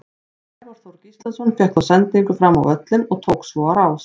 Sævar Þór Gíslason fékk þá sendingu fram völlinn og tók svo á rás.